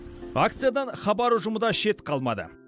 акциядан хабар ұжымы да шет қалмады